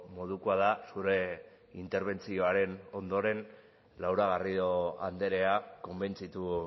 modukoa da zure interbentzioaren ondoren laura garrido andrea konbentzitu